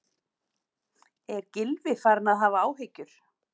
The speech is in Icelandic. Er Gylfi farinn að hafa áhyggjur?